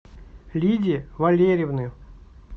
лидии валерьевны